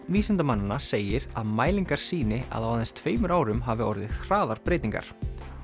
vísindamannanna segir að mælingar sýni að á aðeins tveimur árum hafi orðið hraðar breytingar